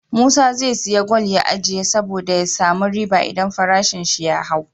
Musa ze siya gwal ya ajiye sabo da ya samu riba idan farashin shi ya hau